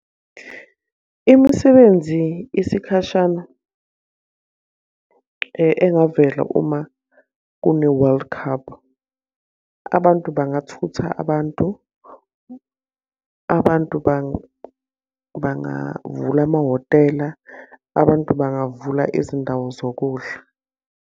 Imisebenzi isikhashana engavela uma kune-world cup. Abantu bangathutha abantu. Abantu bangavula amahhotela. Abantu bangavula izindawo zokudla.